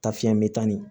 Ta fiɲɛ bɛ taa ni